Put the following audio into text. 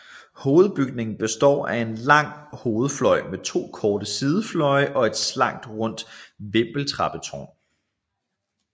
Hovedbygningen består af en lang hovedfløj med to korte sidefløje og et slankt rundt vindeltrappetårn